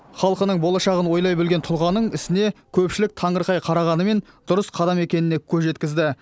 халқының болашағын ойлай білген тұлғаның ісіне көпшілік таңырқай қарағанымен дұрыс қадам екеніне көз жеткізді